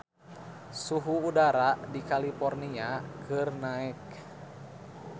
Suhu udara di California keur naek